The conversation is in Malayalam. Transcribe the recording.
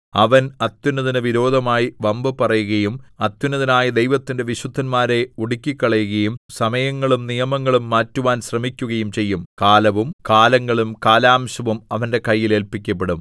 അവൻ അത്യുന്നതന് വിരോധമായി വമ്പു പറയുകയും അത്യുന്നതനായ ദൈവത്തിന്റെ വിശുദ്ധന്മാരെ ഒടുക്കിക്കളയുകയും സമയങ്ങളും നിയമങ്ങളും മാറ്റുവാൻ ശ്രമിക്കുകയും ചെയ്യും കാലവും കാലങ്ങളും കാലാംശവും അവന്റെ കയ്യിൽ ഏല്പിക്കപ്പെടും